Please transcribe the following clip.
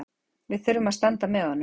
Við þurfum að standa með honum